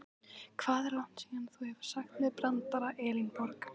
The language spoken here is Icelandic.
Hvað er langt síðan þú hefur sagt mér brandara Elínborg?